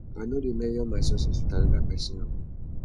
i no dey measure my success wit anoda pesin own